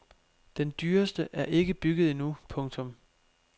Den dyreste er ikke bygget endnu. punktum